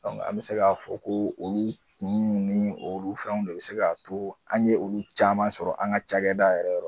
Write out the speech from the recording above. an bɛ se k'a fɔ ko olu kun nun ni olu fɛnw de bɛ se k'a to an ye olu caman sɔrɔ an ka cakɛda yɛrɛ yɔrɔ.